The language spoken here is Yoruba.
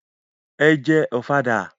Ẹ jẹ Ọ̀fadà!